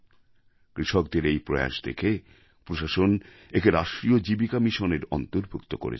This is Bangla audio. কৃষকদের এই প্রয়াস দেখে প্রশাসন একে রাষ্ট্রীয় জীবিকা মিশনের অন্তর্ভুক্ত করেছেন